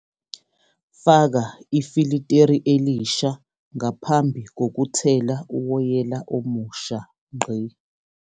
Faka ifiliteri elisha ngaphambi kokuthela uwoyela omusha.